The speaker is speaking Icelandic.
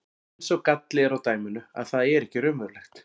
En sá galli er á dæminu að það er ekki raunverulegt.